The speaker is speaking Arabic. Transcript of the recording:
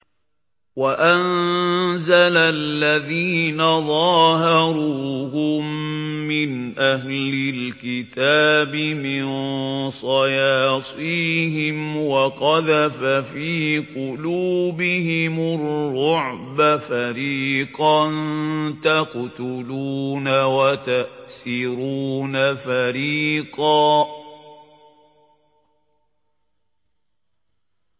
وَأَنزَلَ الَّذِينَ ظَاهَرُوهُم مِّنْ أَهْلِ الْكِتَابِ مِن صَيَاصِيهِمْ وَقَذَفَ فِي قُلُوبِهِمُ الرُّعْبَ فَرِيقًا تَقْتُلُونَ وَتَأْسِرُونَ فَرِيقًا